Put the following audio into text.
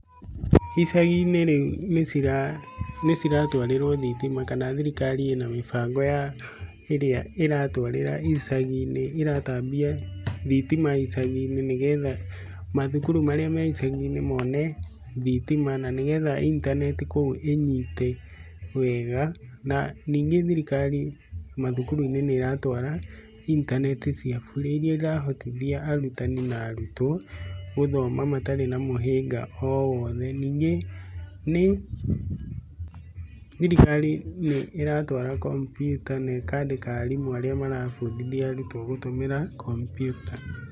Icagi-inĩ rĩu nĩ ciratwarĩrwo thitima, kana thirikari ĩna mĩbango ya ĩrĩa ĩratwarĩra icagi-inĩ, ĩratambia thitima icagi-inĩ nĩ getha mathukuru marĩ me icagi-inĩ mone thitima na nĩ getha intaneti kũu ĩnyite wega. Na ningĩ thirikari mathukuru-ini nĩ ĩratwara intaneti cia burĩ iria irahotithia arutani na arutwo gũthoma matarĩ na mũhĩnga o wothe. Ningĩ nĩ, thirikari nĩ ĩratwara kompiuta na ĩkandĩka arimũ arĩa marabundithia arutwo gũtũmĩra kompiuta.